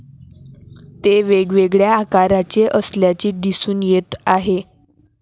ते वेगवेगळ्या आकारचे असल्याचे दिसून येत आहे.